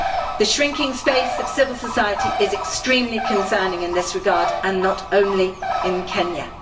The shrinking space of civil society is extremely concerning in this regard, and not only in Kenya.